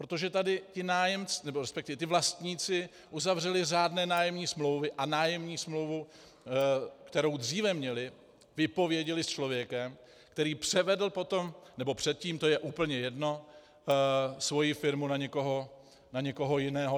Protože tady ti vlastníci uzavřeli řádné nájemní smlouvy a nájemní smlouvu, kterou dříve měli, vypověděli s člověkem, který převedl potom, nebo předtím, to je úplně jedno, svoji firmu na někoho jiného.